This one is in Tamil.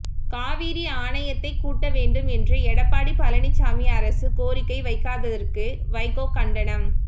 காவிரி ஆணையத்தைக் கூட்ட வேண்டும் என்று எடப்பாடி பழனிச்சாமி அரசு கோரிக்கை வைக்காததற்கு வைகோ கண்டனம்